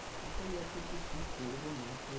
এটাই আছে কি কিকরবো না কর